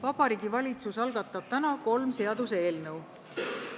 Vabariigi Valitsus algatab täna kolm seaduseelnõu.